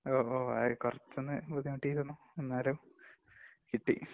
ഓ, ഓ, കൊറച്ചൊന്നു ബുദ്ധിമുട്ടിയിരുന്നു. എന്നാലും കിട്ടി.